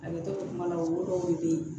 A bɛ to kuma la olu dɔw de bɛ ye